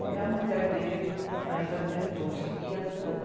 Aí a mulher dele ainda tentou seguir as coisas.